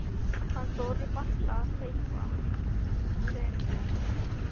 Hann þorir varla að hreyfa sig af ótta við Kol.